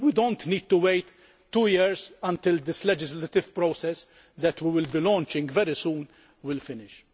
We do not need to wait two years until this legislative process that we will be launching very soon is finished.